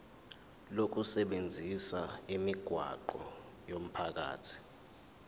lokusebenzisa imigwaqo yomphakathi